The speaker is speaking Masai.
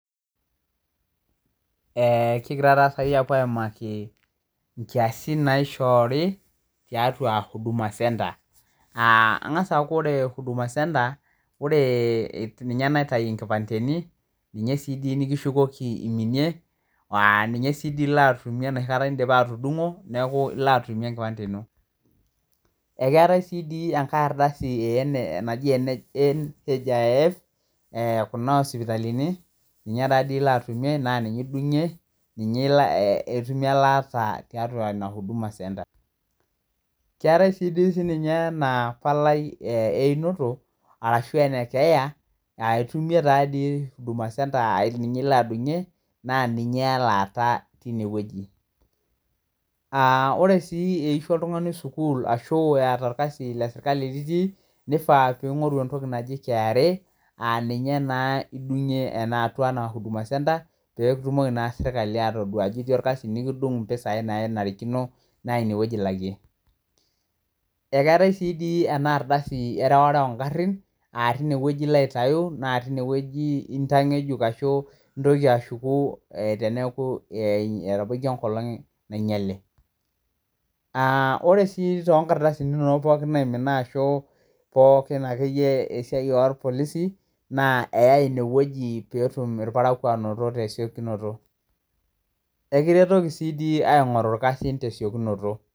King'ira taa tanakata aapuo aimaki inkiasin tiatua huduma centre. Keng'asa aaku oore huduma centre ninye naitau inkipandeni ninye sii nekishukoki iminie ninye sii iilo atumie enoshi kata in'dipa atudung'o niaku iilo atumie enkipande iino. Eetae sii toi enkae ardasi naji NHIF kuna osipitalini ninye taa toi iilo atumie naa ninye idung'ie, itumie elaata tiatua huduma centre